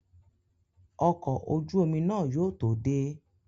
Ọkọ̀ ojú omi náà yóò tó dé